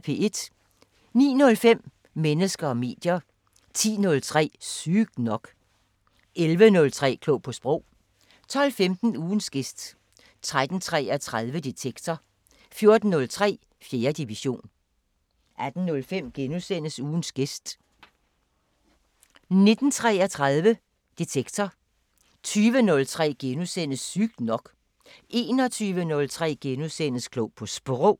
09:05: Mennesker og medier 10:03: Sygt nok 11:03: Klog på Sprog 12:15: Ugens gæst 13:33: Detektor 14:03: 4. division 18:05: Ugens gæst * 19:33: Detektor 20:03: Sygt nok * 21:03: Klog på Sprog *